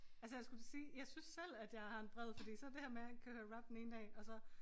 Altså jeg skulle til at sige jeg synes selv at jeg har en bred fordi så det her med at køre rap den ene dag og så